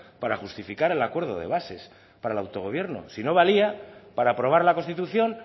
para justificar el acuerdo de bases para el autogobierno si no valía para aprobar la constitución